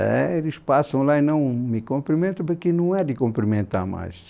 É, eles passam lá e não me cumprimentam, porque não é de cumprimentar mais.